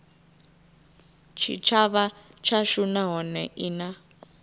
tshitshavha tshashu nahone i na